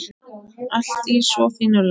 Allt í svo fínu lagi.